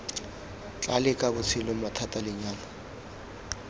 tla leka botshelo mathata lenyalo